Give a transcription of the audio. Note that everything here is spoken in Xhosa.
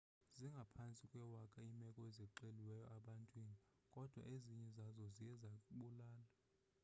zingaphantsi kwewaka iimeko ezixeliweyo ebantwini kodwa ezinye zazo ziye zabulala